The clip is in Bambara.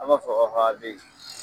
An ba fɔ ko